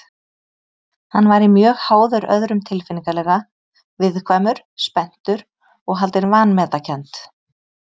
Hann væri mjög háður öðrum tilfinningalega, viðkvæmur, spenntur og haldinn vanmetakennd.